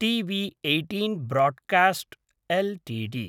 TV eighteen broadcast Ltd